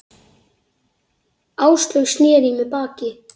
Áslaug sneri í mig baki.